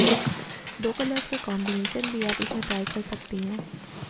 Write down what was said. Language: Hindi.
दो कलर्स का कॉम्बिनेशन भी आप इसमें ट्राई कर सकती हैं